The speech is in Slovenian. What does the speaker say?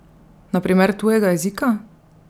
Na primer tujega jezika?